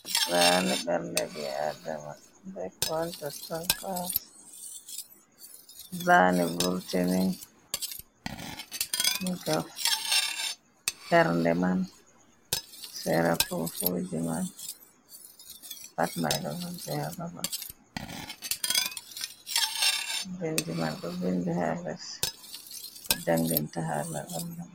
Bayani ɓerde ɓi adama ɓe ko woni nder pat zani vurtini diga ɓerndeman, sera fufuji man, pat man ɗo vurti ha ɓaɓal vindi man ɗo vindi ha les ko janginta hala ɓerde ma.